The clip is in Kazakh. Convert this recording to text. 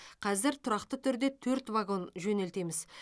қазір тұрақты түрде төрт вагон жөнелтеміз